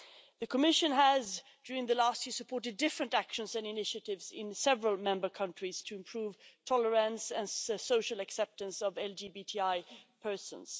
The Commission has, during the last year, support different actions and initiatives in several member countries to improve tolerance and social acceptance of LGBTI persons.